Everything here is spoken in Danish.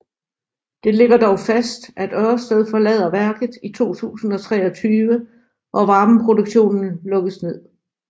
Det ligger dog fast at Ørsted forlader værket i 2023 og varmeproduktionen lukkes ned